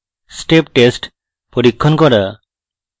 step test পরীক্ষণ করা